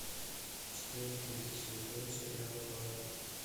четвертый сезон сериала барри